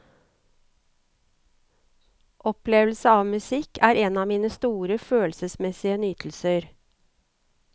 Opplevelse av musikk er en av mine store følelsesmessige nytelser.